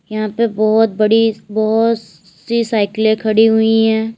यहां पे बहुत बड़ी बहुत सी साइकिल खड़ी हुई है।